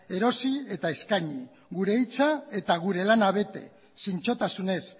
erosi eta eskaini gure hitza eta gure lana bete zintzotasunez